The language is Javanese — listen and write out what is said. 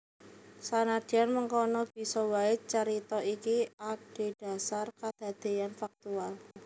Sanadyan mengkono bisa waé carita iki adhedhasar kadadéyan faktual